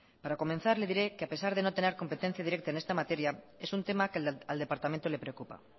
para comenzar le diré que a pesar de no tener competencia directa en esta materia es un tema que al departamento le preocupa